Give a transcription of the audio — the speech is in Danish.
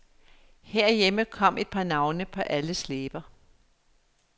Herhjemme kom et par navne på alles læber.